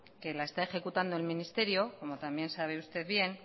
que la está ejecutando el ministerio como también sabe usted bien